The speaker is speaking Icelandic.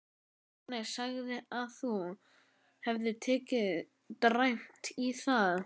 Agnes sagði að þú hefðir tekið dræmt í það.